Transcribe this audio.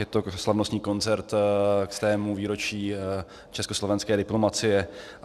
Je to slavnostní koncert ke stému výročí československé diplomacie.